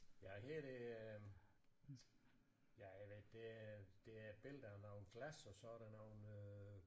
Ja her er det øh ja jeg ved ikke det det er et billede af nogle glas og sådan nogle øh